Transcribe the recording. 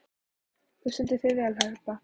Þú stendur þig vel, Heba!